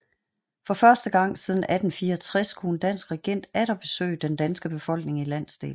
For første gang siden 1864 kunne en dansk regent atter besøge den danske befolkning i landsdelen